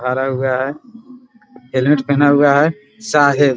भरा हुआ है | हेलमेट पेहना हुआ है साहब --